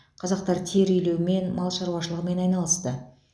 қазақтар тері илеумен мал шаруашылығымен айналысты